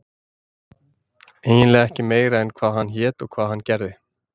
eiginlega ekki meira en hvað hann hét og hvað hann gerði.